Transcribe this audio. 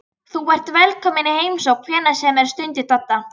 Þú ert velkominn í heimsókn hvenær sem er stundi Dadda.